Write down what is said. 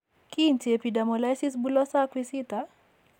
Kiinti epidermolysis bullosa acquisita?